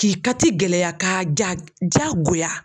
K'i kati gɛlɛya, ka ja jagoya.